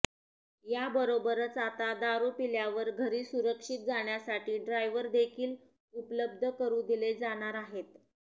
याबरोबरच आता दारू पिल्यावर घरी सुरक्षित जाण्यासाठी ड्रायव्हरदेखील उपलब्ध करू दिले जाणार आहेत